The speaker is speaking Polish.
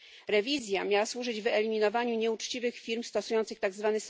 Rewizja miała służyć wyeliminowaniu nieuczciwych firm stosujących tzw.